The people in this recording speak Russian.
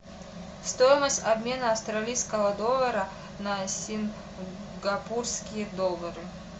стоимость обмена австралийского доллара на сингапурские доллары